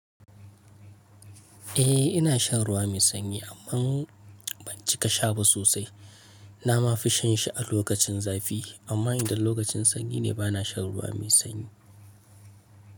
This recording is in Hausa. Eh ina shan ruwa mai sanyi amma ban cika sha ba sosai. Na ma fi shan shi a lokacin zafi amma idan lokacin sanyi ne bana shan ruwa mai sanyi.